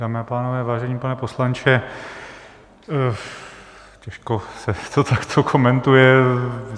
Dámy a pánové, vážený pane poslanče, těžko se to takto komentuje.